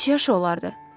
Neçə yaş olardı?